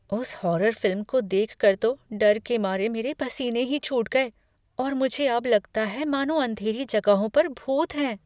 उस horror film को देख कर तो डर के मारे मेरे पसीने ही छूट गए और मुझे अब लगता है मानो अंधेरी जगहों पर भूत हैं।